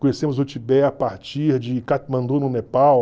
Conhecemos o Tibete a partir de Katmandu, no Nepal.